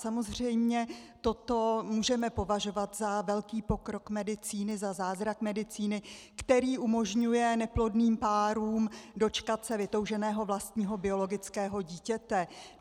Samozřejmě toto můžeme považovat za velký pokrok medicíny, za zázrak medicíny, který umožňuje neplodným párům dočkat se vytouženého vlastního biologického dítěte.